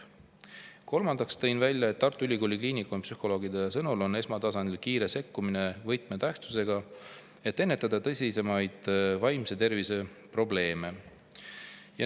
Kolmandaks toon välja, et Tartu Ülikooli Kliinikumi psühholoogide sõnul on esmatasandil kiire sekkumine võtmetähtsusega, et ennetada tõsisemaid vaimse tervise probleeme.